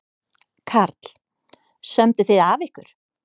Karl: Sömdu þið af ykkur?